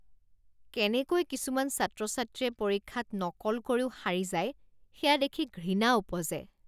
কেনেকৈ কিছুমান ছাত্ৰ ছাত্ৰীয়ে পৰীক্ষাত নকল কৰিও সাৰি যায় সেয়া দেখি ঘৃণা উপজে।